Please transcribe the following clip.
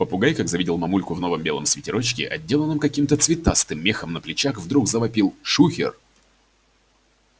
попугай как завидел мамульку в новом белом свитерочке отделанном каким-то цветастым мехом на плечах вдруг завопил шухер